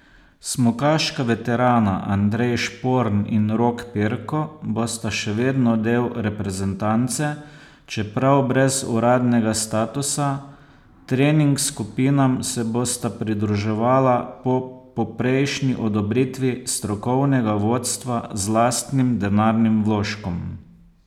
Smukaška veterana Andrej Šporn in Rok Perko bosta še vedno del reprezentance, čeprav brez uradnega statusa, trening skupinam se bosta pridruževala po poprejšnji odobritvi strokovnega vodstva z lastnim denarnim vložkom.